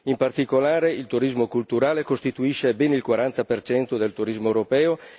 In particolare, il turismo culturale costituisce ben il 40 del turismo europeo.